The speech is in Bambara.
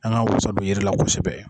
An g'an wasa don yiri la kosɛbɛ